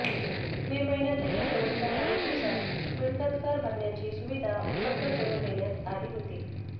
मे महिन्यातही शेवटच्या काही दिवसांत मिळकतकर भरण्याची सुविधा उपलब्ध करून देण्यात आली होती